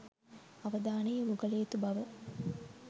අවධානය යොමු කළ යුතු බව